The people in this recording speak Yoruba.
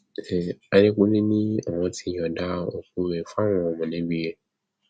àdẹkùnlé ni àwọn ti yọǹda òkú rẹ fáwọn mọlẹbí rẹ